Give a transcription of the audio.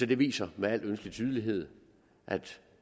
det viser med al ønskelig tydelighed at